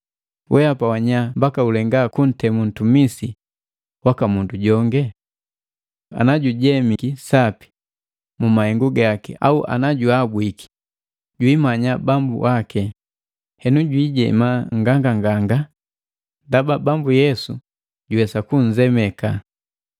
Weapa wanya mbaka ulenga kuntemu ntumisi wa mundu jongi? Ana jujemiki sapi mu mahengu gaki au ana juabwiki jwiimanya bambu waki, hena jwiijema nganganganga, ndaba Bambu Yesu juwesa kunzemeka.